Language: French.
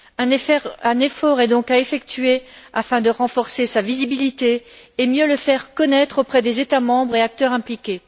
Un effort est donc à effectuer afin de renforcer sa visibilité et de mieux le faire connaître auprès des États membres et des acteurs impliqués.